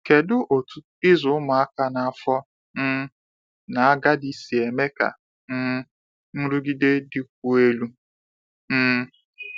Kedu otu ịzụ ụmụaka na afọ um n'agadi si eme ka um nrụgide dịkwuo elu? um